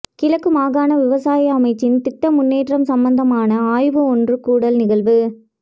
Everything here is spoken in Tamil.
கிழக்கு மாகாண விவசாய அமைச்சின் திட்ட முன்னேற்றம் சம்மந்தமான ஆய்வு ஒன்றுகூடல் நிகழ்வு